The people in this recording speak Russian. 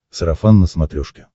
сарафан на смотрешке